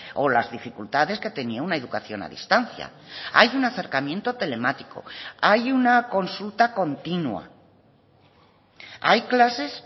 o las dificultades que tenía una educación a distancia hay un acercamiento telemático hay una consulta continua hay clases